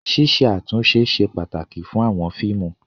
Ṣíṣe àtúntó ṣe pàtàkì fún àwọn fíìmù.